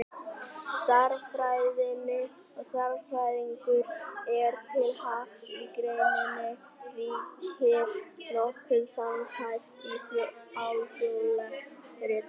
Stærðfræðinni og stærðfræðingum er til happs að í greininni ríkir nokkuð samhæft, alþjóðlegt ritmál.